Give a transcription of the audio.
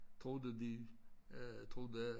Troede de øh troede at